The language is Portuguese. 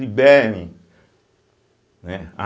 Liberem, né.